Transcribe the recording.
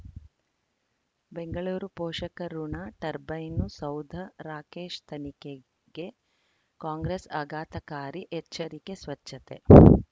ಬೆಂಗಳೂರು ಪೋಷಕಋಣ ಟರ್ಬೈನು ಸೌಧ ರಾಕೇಶ್ ತನಿಖೆಗೆ ಕಾಂಗ್ರೆಸ್ ಆಘಾತಕಾರಿ ಎಚ್ಚರಿಕೆ ಸ್ವಚ್ಛತೆ